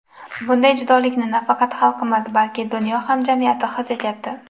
Bunday judolikni nafaqat xalqimiz, balki dunyo hamjamiyati his etyapti.